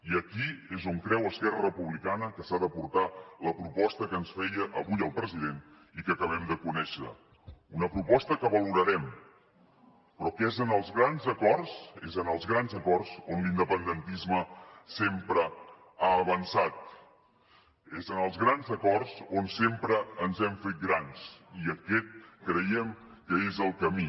i aquí és on creu esquerra republicana que s’ha de portar la proposta que ens feia avui el president i que acabem de conèixer una proposta que valorarem però que és en els grans acords és en els grans acords on l’independentisme sempre ha avançat és en els grans acords on sempre ens hem fet grans i aquest creiem que és el camí